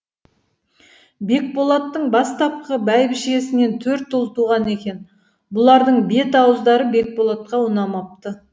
бекболаттың бастапқы бәйбішесінен төрт ұл туған екен бұлардың бет ауыздары бекболатқа ұнамапты